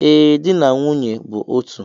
Ee, di na nwunye bụ otu